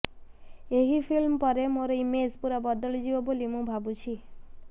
ଏହି ଫିଲ୍ମ ପରେ ମୋର ଇମେଜ୍ ପୂରା ବଦଳିଯିବ ବୋଲି ମୁଁ ଭାବୁଛି